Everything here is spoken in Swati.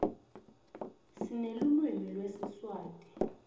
sinelulwimi lesiswati